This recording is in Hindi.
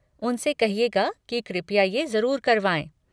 उनसे कहिएगा कि कृपया ये ज़रूर करवाएँ।